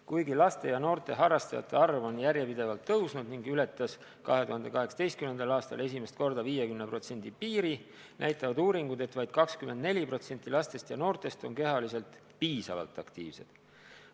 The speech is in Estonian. Kuigi laste ja noorte harrastajate arv on järjepidevalt kasvanud ning ületas 2018. aastal esimest korda 50% piiri, näitavad uuringud, et vaid 24% lastest ja noortest on kehaliselt piisavalt aktiivsed.